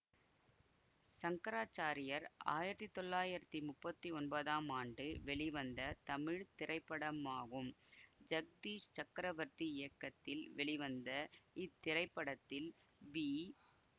சங்கராச்சாரியர் ஆயிரத்தி தொள்ளாயிரத்தி முப்பத்தி ஒன்பதாம் ஆண்டு வெளிவந்த தமிழ் திரைப்படமாகும் ஜக்தீஷ் சக்கரவர்த்தி இயக்கத்தில் வெளிவந்த இத்திரைப்படத்தில் வி